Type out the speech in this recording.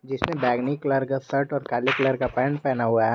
इसमें बैगनी कलर का शर्ट और काली कलर का पैंट पहना हुआ है।